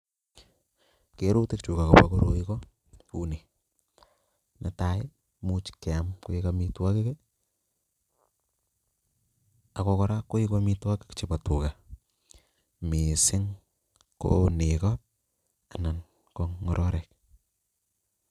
Kerutik chu akopa koroi ko uni: "netai komuch keam koek amitwogik, ako koraa koeku amitwogik chepo tuga, mising' ko neko ana ko ng'ororik.